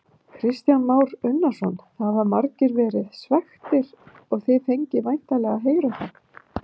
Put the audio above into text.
Kristján Már Unnarsson: Það hafa margir verið svekktir og þið fengið væntanlega að heyra það?